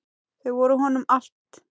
Þau voru honum allt.